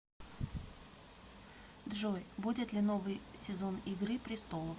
джой будет ли новый сезон игры престолов